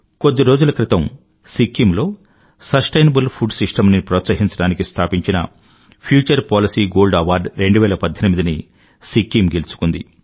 కొద్ది రోజుల క్రితం సిక్కిం లో సస్టెయినబుల్ ఫుడ్ సిస్టమ్ ని ప్రోత్సహించడానికి స్థాపించిన ఫ్యూచర్ పాలిసీ గోల్డ్ అవార్డ్ 2018ని సిక్కిం గెలుచుకుంది